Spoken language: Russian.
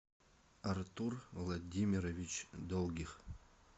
артур владимирович долгих